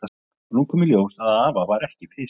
Og nú kom í ljós að afa var ekki fisjað saman.